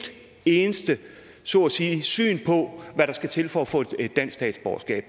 eneste så at sige syn på hvad der skal til for at få et dansk statsborgerskab